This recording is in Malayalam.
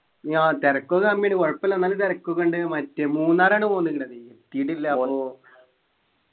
ആഹ് തെരക്കൊക്കെ കുഴപ്പല്ല ന്നാലും തെരക്കൊക്കെ ഉണ്ടേനു മറ്റേ മൂന്നാറാണ് പോണ്ക്ക്ണതെ എത്തീട്ടില്ല അപ്പൊ